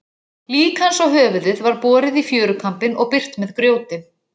Lík hans og höfuðið var borið í fjörukambinn og byrgt með grjóti.